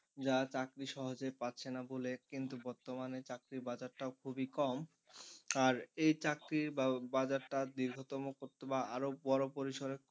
যা চাকরি সহজে পাচ্ছে না বলে কিন্তু বর্তমানে চাকরি বাজার টাও খুবই কম আর এই চাকরির বাজারটা দীর্ঘতম করতবা আরো বড় পরিসরে,